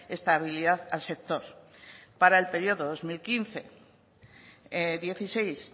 estabilidad al sector para el periodo dos mil quince dieciséis